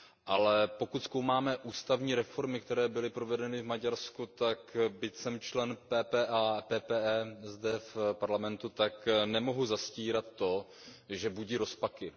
Ale pokud zkoumáme ústavní reformy, které byly provedeny v Maďarsku, tak byť jsem člen PPE zde v Parlamentu, tak nemohu zastírat to, že budí rozpaky.